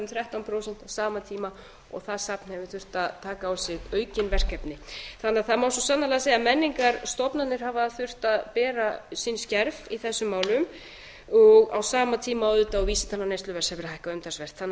þrettán prósent á sama tíma og það safn hefur þurft að taka á sig aukin verkefni þannig að það má svo sannarlega segja að menningarstofnanir hafa þurft að bera sinn skerf í þessum málum á sama tíma auðvitað og vísitala neysluverðs hefur hækkað umtalsvert þann að